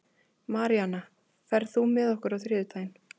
Maríana, ferð þú með okkur á þriðjudaginn?